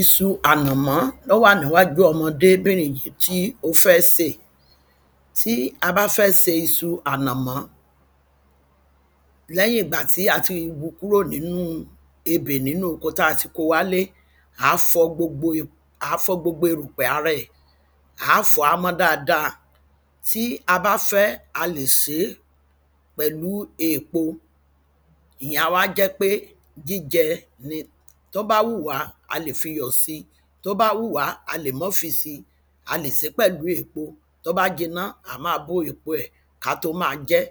isu ànàmọ́ ó wà níwájú ọmọdébìnrin yí tí ó fẹ́ sè tí a bá fẹ́ se isu ànàmọ́ lẹ́yìn ìgbà tí a ti wu kúrò nínú ebè nínú oko ko wá lé à fọ gbogbo erùpẹ̀ a rẹ̀ à fọ á mọ́ dada tí a bá fẹ́ a lè sé pẹ̀lú eèpo ìyẹn á wá jẹ́ pe jíjẹ ni tó bá wù wá a lè fiyọ̀ si tó bá wù wá a lè mọ́ fi si a lè sé pẹ̀lú èpo tó bá jiná a má bó èpo ẹ̀ ká tó ma jẹ́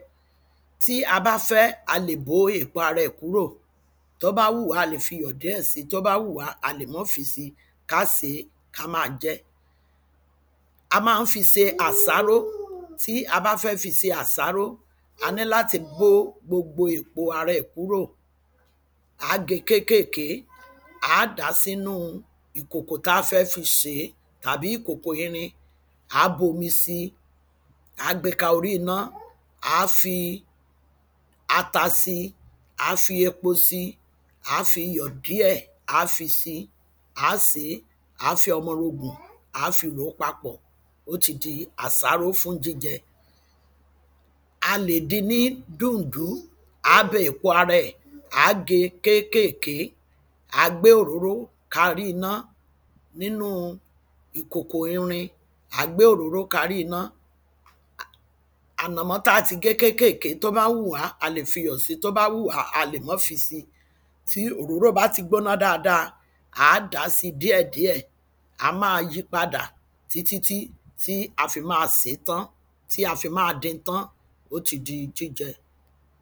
tí a bá fẹ́ a lè bó èpo ara ẹ̀ kúrò tó bá wù wá a lè fiyọ̀ díẹ̀ si tó bá wù wá a lè mọ́ fi si ká se ká máa jẹ́ a má ń fi se àsáró tí a bá fẹ́ fi se àsáró a ní láti bó gbogbo èpo ara ẹ̀ kúrò àá ge kékèké àá dà sínú ìkòkò ta fẹ́ fi sèé àbí ìkòkò irin àá bu omi si àá gbe ka orí iná àá fi ata si àá fi epo si àá fiyọ̀ díẹ̀ àá fi si àá sèé àá fi ọmọrogùn àá fi rò papọ̀ ó ti di àsáró fún jíjẹ a lè din ní duǹdún á bẹ èpo ara ẹ̀ àá ge kékèké àá gbe òróró ka rí iná nínú ìkòkò irin àá gbe òróró ka rí iná ànàmọ́ ta ti ge kékèké tó bá wù wá a lè fiyọ̀ díẹ̀ si tó bá wù wá a lè mọ́ fi si ti òróró bá ti gbóná dáada àá dà si díẹ̀díẹ̀ a má yi padà títítí tí a fi má sè tán ti a fi má din tán ó ti di jíjẹ